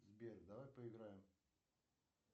сбер давай поиграем